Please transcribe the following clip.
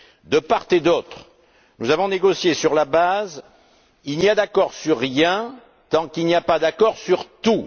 De part et d'autre, nous avons négocié sur la base il n'y a d'accord sur rien tant qu'il n'y a pas d'accord sur tout.